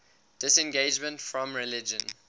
disengagement from religion